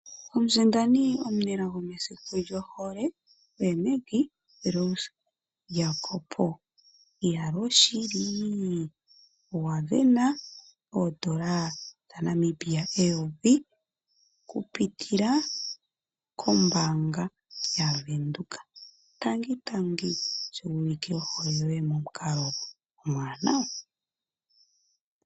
Omusindani omunelago mesiku lyohole oye Maggie Rose Jacob. Iyaloo shili owa sindana oodola dhaNamibia eyovi okupitila kombaanga yaVenduka. Tangi tangi sho wuulike ohole yoye momukalo omuwanawa.